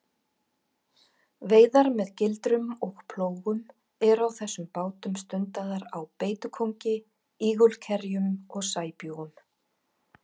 Veiðar með gildrum og plógum eru á þessum bátum stundaðar á beitukóngi, ígulkerjum og sæbjúgum.